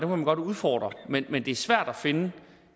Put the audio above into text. man godt må udfordre men men det er svært at finde